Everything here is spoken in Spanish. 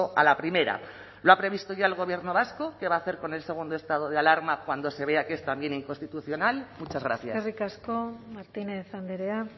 a la primera lo ha previsto ya el gobierno vasco qué va a hacer con el segundo estado de alarma cuando se vea que es también inconstitucional muchas gracias eskerrik asko martínez andrea